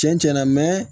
Cɛn cɛn na